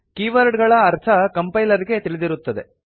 keyword ಗಳ ಅರ್ಥ compiler ಗೆ ತಿಳಿದಿರುತ್ತದೆ